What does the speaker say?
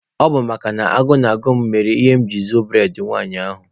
Ọ bụ makana agụụ na-agụ m mere mụ jiri zuo bụredị nwanyị ahụ.